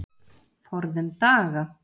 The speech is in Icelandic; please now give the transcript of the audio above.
Forðum daga.